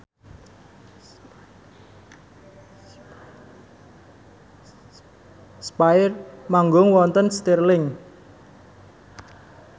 spyair manggung wonten Stirling